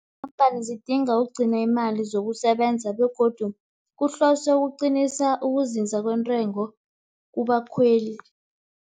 Iinkampani zidinga ukugcina imali zokusebenza, begodu kuhloswe ukuqinisa ukuzinza kwentengo kubakhweli.